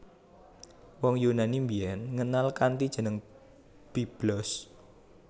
Wong Yunani biyen ngenal kanthi jeneng Byblos